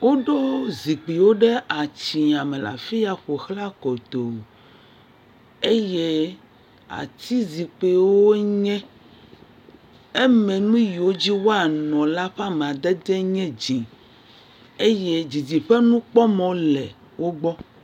Woɖo zikpiwo ɖe atsiãme le afi ya ƒo ʋlã kotoo. Eye atizikpiwo wonye. Eme nu yiwo dzi woanɔ la ƒe amadedee nye dzẽ. Eye didiƒe nukpɔmɔ le wogbɔ.